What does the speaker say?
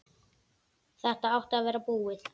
Þetta átti að vera búið.